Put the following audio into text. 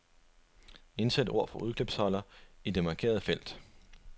Indsæt ord fra udklipsholder i det markerede felt.